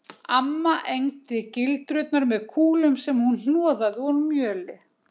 Amma egndi gildrurnar með kúlum sem hún hnoðaði úr mjöli